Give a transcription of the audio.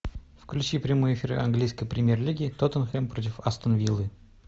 включи прямой эфир английской премьер лиги тоттенхэм против астон виллы